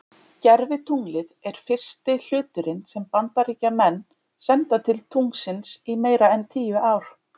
Gervitunglið er fyrsti hluturinn sem að Bandaríkjamenn senda til tunglsins í meira en tíu ár.